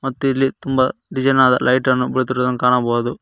ಮತ್ತೆ ಇಲ್ಲಿ ತುಂಬ ಡಿಸೈನ್ ಆದ ಲೈಟನ್ನು ಹೊಳಿತಿರುವುದನ್ನು ಕಾಣಬಹುದು.